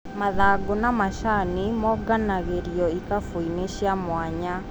Mathangũ ma macani monganagĩrio ikabũinĩ cia mwanya.